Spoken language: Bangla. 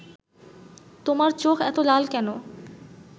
তোমার চোখ এতো লাল কেন